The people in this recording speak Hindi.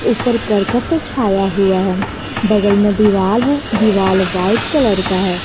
उपर करकट से छाया हुआ है बगल में दीवाल है दीवाल व्हाइट कलर का है।